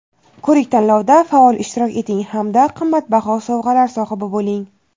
ko‘rik-tanlovda faol ishtirok eting hamda qimmatbaho sovg‘alar sohibi bo‘ling!.